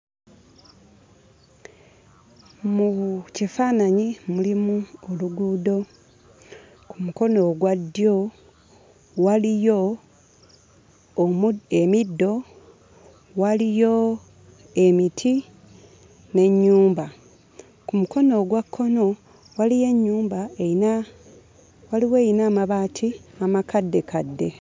Mu bu kifaananyi mulimu oluguudo. Ku mukono ogwa ddyo waliyo omu emiddo, waliyo emiti n'ennyumba. Ku mukono ogwa kkono, waliyo ennyumba eyina waliwo eyina amabaati amakaddekadde.